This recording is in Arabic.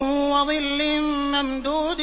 وَظِلٍّ مَّمْدُودٍ